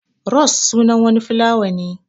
Ros sunan wani filawa ne.